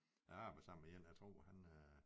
Jeg arbejder sammen med én jeg tror han øh